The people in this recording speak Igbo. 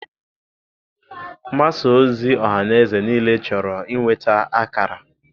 Mgbasa ozi ọhaneze niile chọrọ inweta ákàrà.